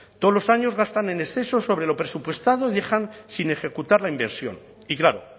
todos los años gastan en exceso sobre lo presupuestado y dejan sin ejecutar la inversión y claro